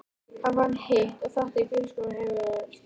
Hann fann hitt og þetta í bílskúrnum heima hjá þér.